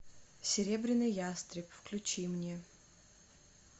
серебряный ястреб включи мне